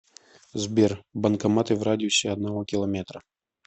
сбер банкоматы в радиусе одного километра